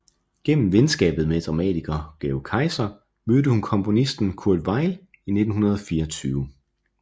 Gennem venskabet med dramatiker Georg Kaiser mødte hun komponisten Kurt Weill i 1924